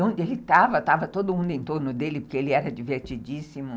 Onde ele estava, estava todo mundo em torno dele, porque ele era divertidíssimo.